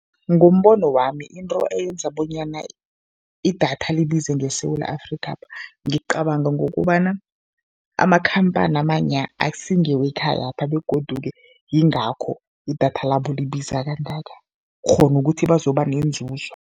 Ngombono wami, into eyenza bonyana idatha libize ngeSewula Afrikapha ngicabanga ngokobana amakhamphani amanya akusi ngewekhayapha begodu-ke yingakho idatha labo libiza kangaka, kghona ukuthi bazoba nenzuzo.